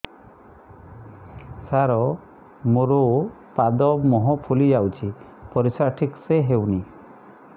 ସାର ମୋରୋ ପାଦ ମୁହଁ ଫୁଲିଯାଉଛି ପରିଶ୍ରା ଠିକ ସେ ହଉନି